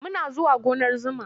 Muna zuwa gonar zuma.